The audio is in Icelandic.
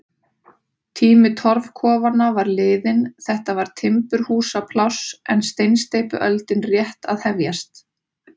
Tími torfkofanna var liðinn, þetta var timburhúsapláss en steinsteypuöldin rétt að hefjast.